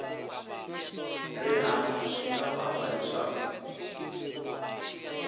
rihanyu swi nga vanga leswaku